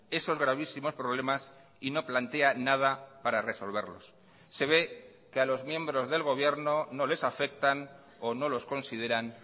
esos gravísimos problemas y no plantea nada para resolverlos se ve que a los miembros del gobierno no les afectan o no los consideran